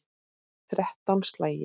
Þrettán slagir.